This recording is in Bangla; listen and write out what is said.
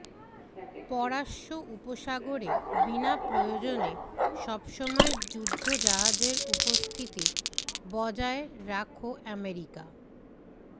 পরাস্য উপসাগরে বিনা প্রয়োজনে সবসময় যুদ্ধজাহাজের উপস্থিতি বজায় রাখ আমেরিকা